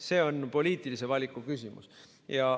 See on poliitilise valiku küsimus.